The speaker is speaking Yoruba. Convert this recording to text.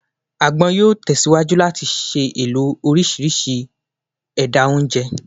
Agbon yoo tesiwaju lati ṣee lo ni orisirisi awọn ẹda onjẹ